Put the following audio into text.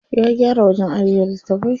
Ya gyara wajen ajiye littafai.